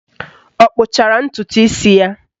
Ọ kpụchara ntụtụ isi ya?